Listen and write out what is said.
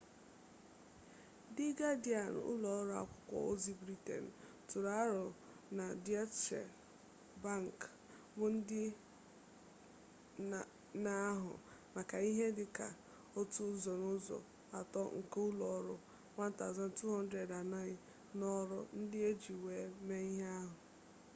di gadịan ụlọ ọrụ akwụkwọ ozi briten tụrụ aro na deutsche bank bụ ndị na-ahụ maka ihe dị ka otu ụzọ n'ụzọ atọ nke ụlọ ọrụ 1200 anọghị n'ọrụ ndị e ji wee mee ihe a